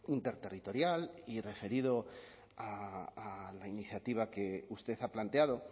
interterritorial y referido a la iniciativa que usted ha planteado